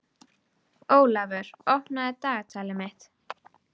Ólafur, opnaðu dagatalið mitt.